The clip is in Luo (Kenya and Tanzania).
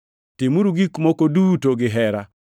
Timuru gik moko duto gihera.